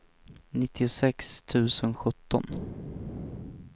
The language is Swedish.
nittiosex tusen sjutton